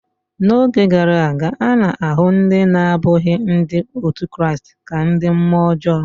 N’oge gara aga, a na-ahụ ndị na-abụghị Ndị otu Kraịst ka ndị mmụọ ọjọọ.